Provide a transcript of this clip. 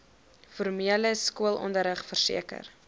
formele skoolonderrig verseker